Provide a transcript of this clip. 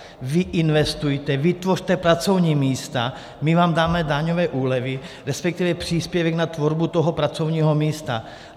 Vy investujte, vytvořte pracovní místa, my vám dáme daňové úlevy, respektive příspěvek na tvorbu toho pracovního místa.